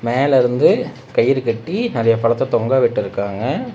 மேல இருந்து கயிறு கட்டி நெறைய பழத்த தொங்க விட்டிருக்காங்க.